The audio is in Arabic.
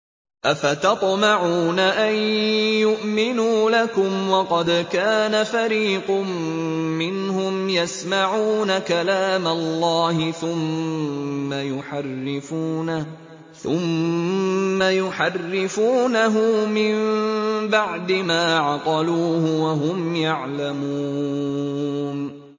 ۞ أَفَتَطْمَعُونَ أَن يُؤْمِنُوا لَكُمْ وَقَدْ كَانَ فَرِيقٌ مِّنْهُمْ يَسْمَعُونَ كَلَامَ اللَّهِ ثُمَّ يُحَرِّفُونَهُ مِن بَعْدِ مَا عَقَلُوهُ وَهُمْ يَعْلَمُونَ